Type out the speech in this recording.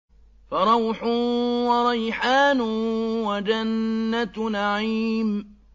فَرَوْحٌ وَرَيْحَانٌ وَجَنَّتُ نَعِيمٍ